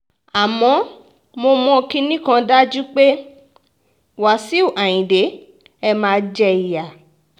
àmọ́ mo mọ kinní kan dájú pé wàṣíù ayíǹde ẹ máa jẹ ìyá